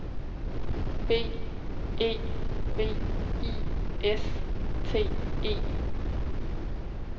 B E V I S T E